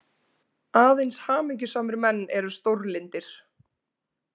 Aðeins hamingjusamir menn eru stórlyndir.